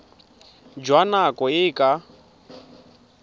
jwa nako e e ka